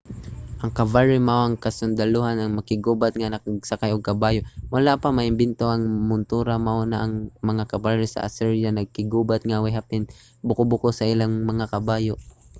ang cavalry mao ang kasundalohan nga makig-gubat nga nagsakay og kabayo. wala pa maimbento ang montura mao na nga ang mga cavalry sa assyria nakiggubat nga way hapin ang buko-buko sa ilang mga kabayo